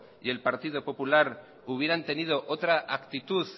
y el partido popular hubieran tenido otra actitud